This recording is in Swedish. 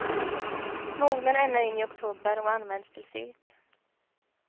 Mognar ända in i oktober och används till sylt.